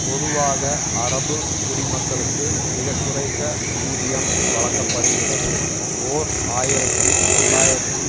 பொதுவாக அரபு குடிமக்களுக்கு மிக குறைந்த ஊதியம் வழங்க படுகிறது ஓர் ஆயிரத்தி தொள்ளாயிரத்தி